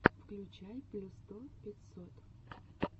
включай плюс сто пятьсот